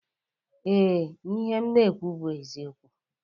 Ee, ihe m na-ekwu bụ eziokwu